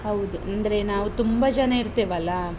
ಹೌದು. ಅಂದ್ರೆ, ನಾವು ತುಂಬ ಜನ ಇರ್ತೇವಲ್ಲಾ?